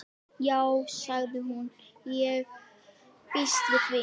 Já sagði hún, ég býst við því